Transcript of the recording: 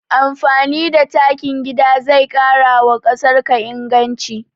Amfani da takin gida zai ƙarawa ƙasarka inganci